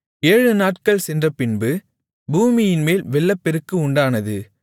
ஏழுநாட்கள் சென்றபின்பு பூமியின்மேல் வெள்ளப்பெருக்கு உண்டானது